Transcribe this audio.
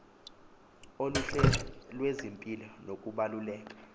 oluhle lwezempilo nokubaluleka